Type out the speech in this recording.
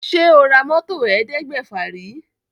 Ṣé o ra mọ́tò ẹ̀ẹ́dẹ́gbèfà rí?